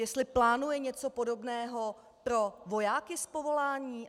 Jestli plánuje něco podobného pro vojáky z povolání?